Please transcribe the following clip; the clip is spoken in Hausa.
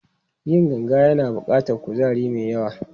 Yin ganga yana buƙatar kuzari mai yawa.